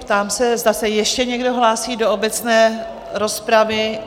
Ptám se, zda se ještě někdo hlásí do obecné rozpravy?